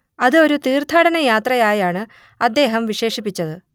അത് ഒരു തീർത്ഥാടനയാത്രയായാണ് അദ്ദേഹം വിശേഷിപ്പിച്ചത്